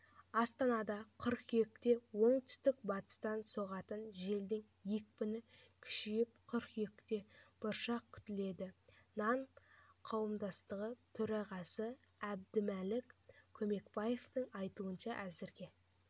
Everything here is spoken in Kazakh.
астанада қыркүйекте оңтүстік-батыстан соғатын желдің екпіні күшейіп қыркүйекте бұршақ күтіледі нан қауымдастығы төрағасыәбдімәлік көмекбаевтың айтуынша әзірге